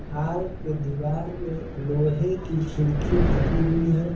Hall के दीवार में लोहे खिड़की लगी हुई है।